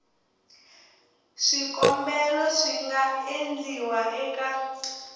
swikombelo swi nga endliwa eka